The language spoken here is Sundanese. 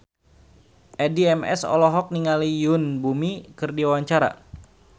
Addie MS olohok ningali Yoon Bomi keur diwawancara